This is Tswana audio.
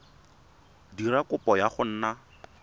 dira kopo ya go nna